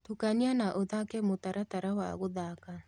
tũkanĩa na ũthake mũtaratara wa guthaka